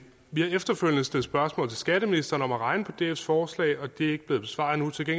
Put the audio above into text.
vi har efterfølgende stillet spørgsmål til skatteministeren om at regne på dfs forslag og det er ikke blevet besvaret endnu til